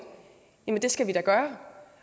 skal vi da gøre